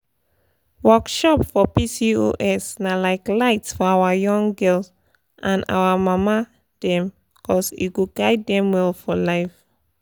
um dat year pcos gist pcos gist dey make everybody quiet buh now e no even shake body again people dey talk am well well.